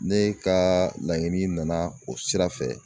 Ne ka laɲini nana o sira fɛ